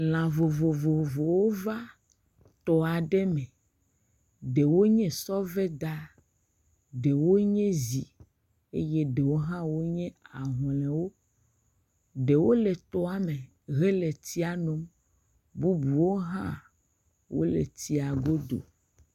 Lã vovovowo va tɔ aɖe me. Ɖewo nye sɔveda, ɖewo nye zi eye ɖewo hã nye ahlɔ̃ewo. Ɖewo le tɔa me hele tsia nom, bubuwo hã wo le tsia godo.